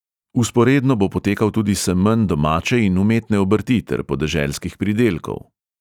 Vzporedno bo potekal tudi semenj domače in umetne obrti ter podeželskih pridelkov.